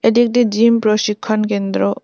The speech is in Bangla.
এটি একটি জিম প্রশিক্ষণ কেন্দ্র।